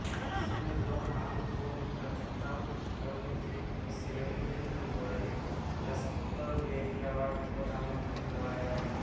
इसने लोहान को निकृष्टतम अभिनेत्री की श्रेणी में दो गोल्डेन रास्पबेरी अवार्ड का नामांकन दिलवाया